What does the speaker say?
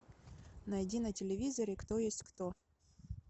найди на телевизоре кто есть кто